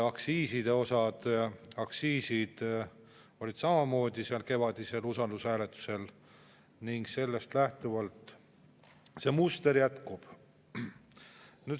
Aktsiisid olid samamoodi kevadel usaldushääletusel ning sellest lähtuvalt see muster jätkub.